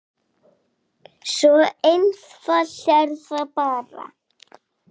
Svo einfalt er það bara.